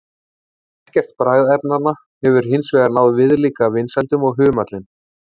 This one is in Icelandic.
Ekkert bragðefnanna hefur hins vegar náð viðlíka vinsældum og humallinn.